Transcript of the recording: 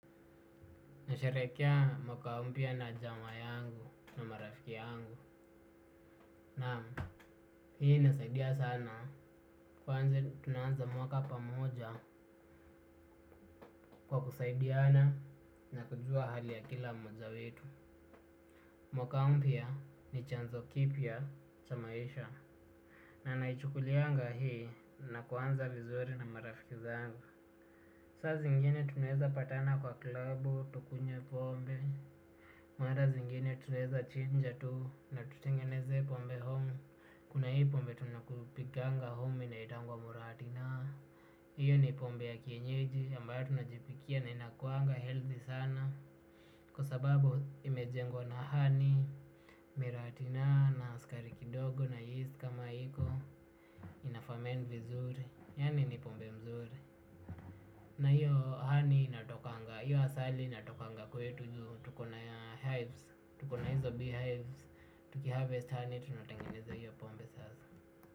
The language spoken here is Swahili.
Nasherehekea mwaka mpya na jamaa yangu na marafiki yangu. Naam, hii inasaidia sana kwanze tunaanza mwaka pamoja kwa kusaidiana na kujua hali ya kila mmoja wetu. Mwaka mpya ni chanzo kipya cha maisha. Na naichukulianga hii na kuanza vizuri na marafiki zangu. Saa zingine tunaeza patana kwa klabu, tukunywe pombe. Mara zingine tunaeza chinja tu na tutengeneze pombe home. Kuna hii pombe tunakupikanga home inaitangwa muratina. Hiyo ni pombe ya kienyeji ambayo tunajipikia na inakuanga healthy sana. Kwa sababu imejengwa na honey, miratina na skari kidogo na yeast kama iko. Inafament vizuri, yani ni pombe mzuri. Na hiyo honey inatokanga, hiyo asali inatokanga kwetu tukona hives, tukona hizo beehives, tukiharvest honey tunatengeneza hiyo pombe sasa.